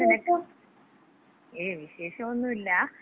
ങാ, ഞാന്നിനക്ക്... ഏയ് വിശേഷോന്നുല്ല.